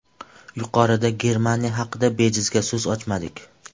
Yuqorida Germaniya haqida bejizga so‘z ochmadik.